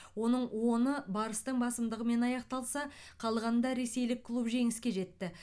оның оны барыстың басымдығымен аяқталса қалғанында ресейлік клуб жеңіске жетті